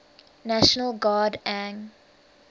national guard ang